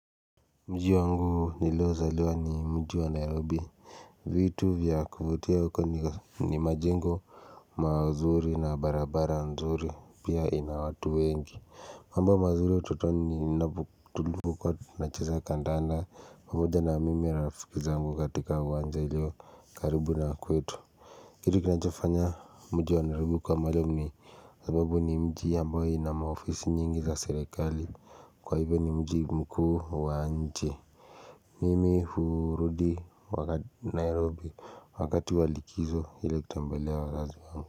Mji wangu niliozaliwa ni mji wa nairobi vitu vya kuvutia uko ni ga ni majengo mazuri na barabara nzuri pia inawatu wengi mambo mazuri utotoni ninapotubuka na cheza kandanda huja na mimi na rafiki zangu katika uwanja iliyo karibu na kwetu. Kitu kinachofanya mji wa nairobi kuwa maali ume hh sababu ni mji ambayo ina maofisi nyingi za serekali Kwa hivyo ni mji mkuu wa nji hh nh Mimi hurudi wakati Nairobi wakati walikizo ile kutembelea wazazi wang.